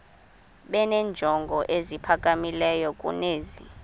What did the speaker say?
benenjongo eziphakamileyo kunezi